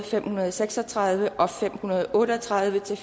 fem hundrede og seks og tredive og fem hundrede og otte og tredive til